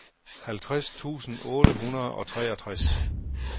halvtreds tusind otte hundrede og treogtres